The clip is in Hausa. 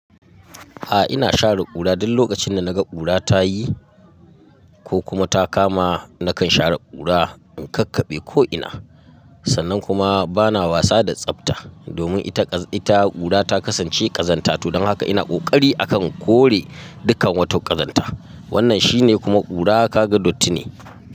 A'a ina share ƙura duk lokacin da naga ƙura ta yi ko kuma ta kama na kan share ƙura in kakkaɓe ko ina Sannan kuma bana wasa da tsafta domin ita ƙura ta kasance ƙazanta to don haka ina ƙoƙari a ka kore dukkan wata ƙazanta. Wannan shi ne kuma ƙura kaga datti ne.